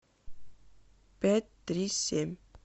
пять три семь